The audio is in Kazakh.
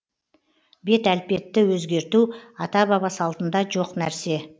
бет әлпетті өзгерту ата баба салтында жоқ нәрсе